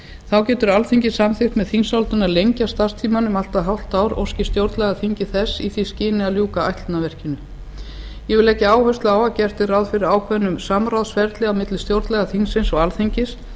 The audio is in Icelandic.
þá getur alþingi samþykkt með þingsályktun að lengja starfstímann um allt að hálft ár óski stjórnlagaþingið þess í því skyni að ljúka ætlunarverkinu ég legg áherslu á að gert er ráð fyrir ákveðnu samráðsferli á milli stjórnlagaþingsins og alþingis